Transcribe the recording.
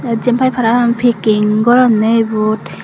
te jianpai parapang packing goronne ibot.